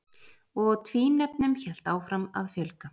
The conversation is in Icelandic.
Og tvínefnum hélt áfram að fjölga.